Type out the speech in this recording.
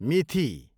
मिथि